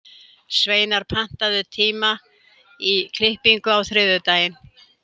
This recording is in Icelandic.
Sveinar, pantaðu tíma í klippingu á þriðjudaginn.